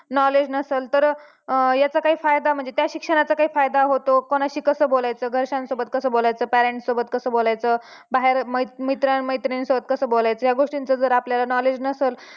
knowledge नसल तर याचा काही फायदा म्हणजे त्या शिक्षणाचा काही फायदा होतो कोणाशी कसं बोलायचं घरच्यांसोबत कसं बोलायचं parents सोबत कसं बोलायचं बाहेर मित्रां मैत्रिणीनसोबत कसं बोलायचं या गोष्टींचं जर आपल्याला knowledge नसल